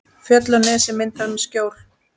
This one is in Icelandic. Fjöll og nesið mynda skjól.